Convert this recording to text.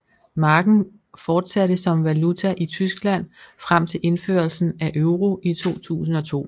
Marken fortsatte som valuta i Tyskland frem til indførelsen af euro i 2002